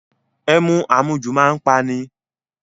Ẹmu àmujù a máa pa ni.